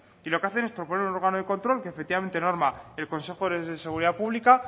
y lo que hacemos es proponer un órgano de control que efectivamente norma el consejo de seguridad pública